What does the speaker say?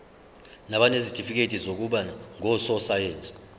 nabanezitifikedi zokuba ngososayense